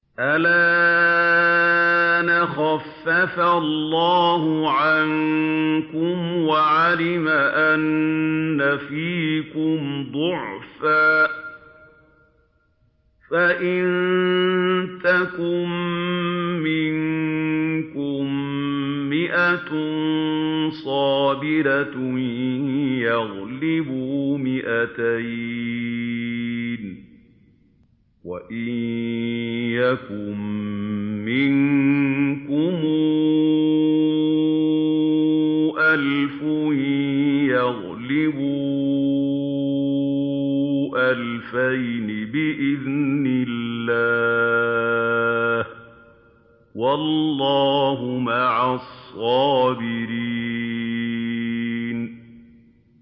الْآنَ خَفَّفَ اللَّهُ عَنكُمْ وَعَلِمَ أَنَّ فِيكُمْ ضَعْفًا ۚ فَإِن يَكُن مِّنكُم مِّائَةٌ صَابِرَةٌ يَغْلِبُوا مِائَتَيْنِ ۚ وَإِن يَكُن مِّنكُمْ أَلْفٌ يَغْلِبُوا أَلْفَيْنِ بِإِذْنِ اللَّهِ ۗ وَاللَّهُ مَعَ الصَّابِرِينَ